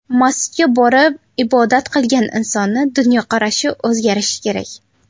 Masjidga borib ibodat qilgan insonning dunyoqarashi o‘zgarishi kerak.